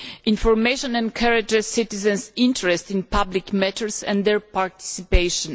Information encourages citizens' interest in public matters and their participation.